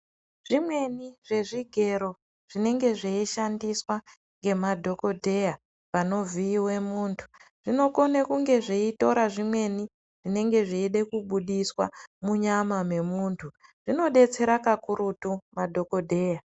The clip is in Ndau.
Zvimweni zvezvigero zvinenge zveishandiswa ngemadhokodheya panovhiiwe munhu, zvinokone kunge zveitora zvimweni zvinenge zveide kubuditswa munyama yemunhu. Zvinodetsera kakurutu madhokodheya.